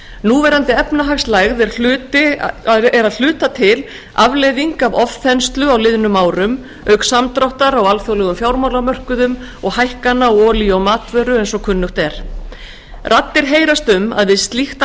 núverandi efnahagslægð er að hluta til afleiðing af ofþenslu á liðnum árum auk samdráttar á alþjóðlegum fjármálamörkuðum og hækkana á olíu og matvöru og fleiri þáttum raddir heyrast um að við slíkt